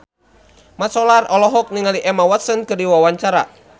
Mat Solar olohok ningali Emma Watson keur diwawancara